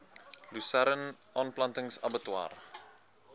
lusern aanplanting abbatior